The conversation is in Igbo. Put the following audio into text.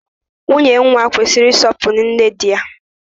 Nwunye nwa kwesịrị isọpuru nne dị ya